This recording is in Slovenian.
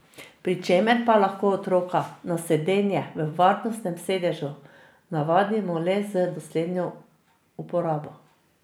Pri čemer pa lahko otroka na sedenje v varnostnem sedežu navadimo le z dosledno uporabo.